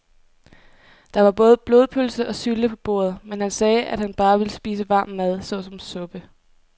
Der var både blodpølse og sylte på bordet, men han sagde, at han bare ville spise varm mad såsom suppe.